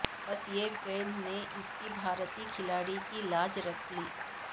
بس ایک گیند نے اس بھارتی کھلاڑی کی لاج رکھ لی